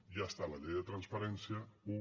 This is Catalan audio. ja està la llei de transparència u